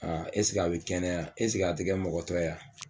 a bi kɛnɛya a ti kɛ mɔgɔtɔ ye wa ?